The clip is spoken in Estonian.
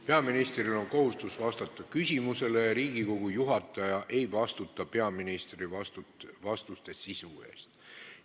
Peaministril on kohustus vastata küsimusele ja Riigikogu juhataja ei vastuta peaministri vastuste sisu eest.